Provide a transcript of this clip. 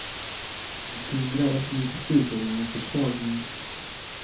Att hindra ett missbruk är ingen försvagning.